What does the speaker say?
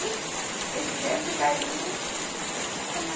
Muito, eles me deram muito carinho, como